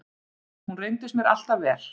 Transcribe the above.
Hún reyndist mér alltaf vel.